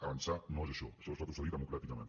avançar no és això això és retrocedir democràticament